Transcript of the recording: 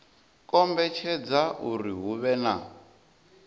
kombetshedza uri hu vhe na